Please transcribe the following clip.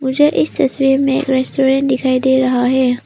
मुझे इस तस्वीर में एक रेस्टोरेंट दिखाई दे रहा है।